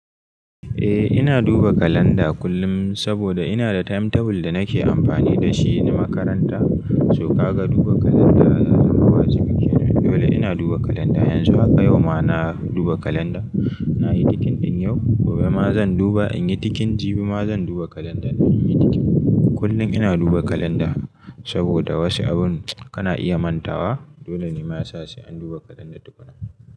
Eh ina duba kalanda kullum saboda ina da timetable da nake amfani da shi na makaranta. So, ka ga duba kalanda ya zama wajibi. Dole ina duba kalanda. Yanzu haka yau ma na duba kalanda, na yi tikin din yau. Gobe ma zan duba in yi tikin. Jibi ma zan duba kalanda in yi tikin. Kullum ina duba kalanda saboda wasu abun kana iya mantawa. Dole ne ma yasa sai an duba kalanda duk zuwa.